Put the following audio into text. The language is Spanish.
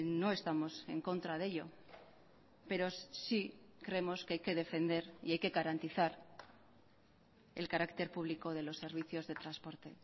no estamos en contra de ello pero sí creemos que hay que defender y hay que garantizar el carácter público de los servicios de transporte